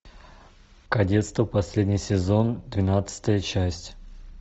кадетство последний сезон двенадцатая часть